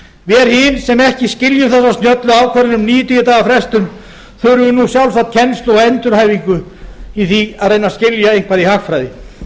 hin sem ekki skiljum þessa snjöllu ákvörðun um níutíu daga frestun þurfum nú sjálfsagt kennslu og endurhæfingu í því að reyna að skilja eitthvað í hagfræði